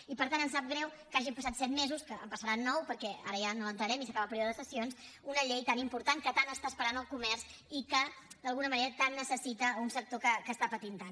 i per tant ens sap greu que hagin passat set mesos que en passaran nou perquè ara ja no l’entrarem i s’acaba el període de sessions una llei tan important que tant està esperant el comerç i que d’alguna manera tant necessita un sector que està patint tant